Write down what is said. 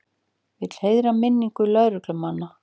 Vill heiðra minningu lögreglumanna